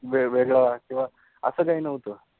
वेगवेगळ किव्वा अस काहि नव्हतं